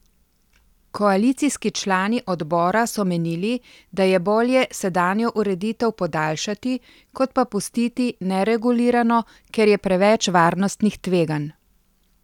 Koalicijski člani odbora so menili, da je bolje sedanjo ureditev podaljšati, kot pa pustiti neregulirano, ker je preveč varnostnih tveganj.